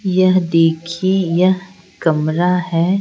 यह देखिए यह कमरा है।